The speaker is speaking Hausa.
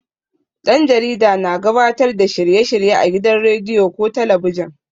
Ɗan jarida na gabatar da shirye-shirye a gidan rediyo ko talabijin.